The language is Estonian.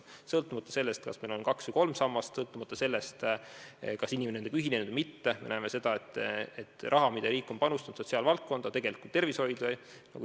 Me näeme, et sõltumata sellest, kas meil on kaks või kolm sammast, sõltumata sellest, kas inimene on nendega ühinenud või mitte, on summa, mille riik on panustanud sotsiaalvaldkonda ja sh tervishoidu, olnud liiga väike.